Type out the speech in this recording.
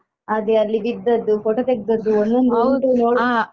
ಅದೇ ಅಲ್ಲಿ ಬಿದ್ದದ್ದು photo ತೆಗ್ದದ್ದು ಒಂದೊಂದುಂಟು.